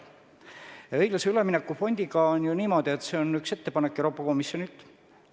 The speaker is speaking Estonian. Õiglase ülemineku fondiga on niimoodi, et see on üks ettepanek Euroopa Komisjonilt.